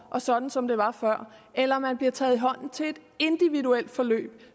og sådan som det var før eller man bliver taget i hånden til et individuelt forløb